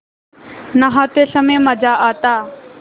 नहाते समय मज़ा आता